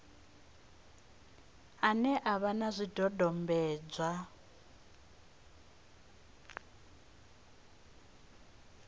ane a vha na zwidodombedzwa